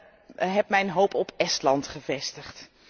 Ik heb mijn hoop op Estland gevestigd.